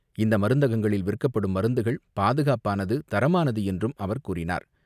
இந்த மருந்தகங்களில் விற்கப்படும் மருந்துகள் பாதுகாப்பானது, தரமானதுஎன்றும் அவர் கூறினார்.